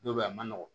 Dɔw bɛ yen a man nɔgɔn